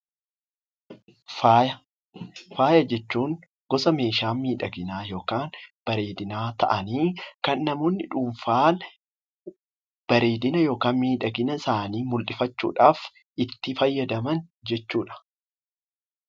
Faaya Faaya jechuun gosa meeshaa miidhaginaa yookaan bareedinaa ta'anii, kan namoonni dhuunfaan bareedina yookaan miidhagina isaanii mul'ifachuu dhaaf itti fayyadaman jechuu dha.